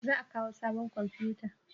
Za a kawo sabon komfuta?